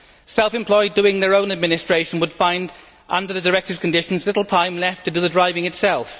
Self employed doing their own administration would find, under the directive's conditions, little time left to do the driving itself.